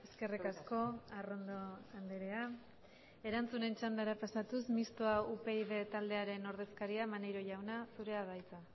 eskerrik asko arrondo andrea erantzunen txandara pasatuz mistoa upyd taldearen ordezkaria maneiro jauna zurea da hitza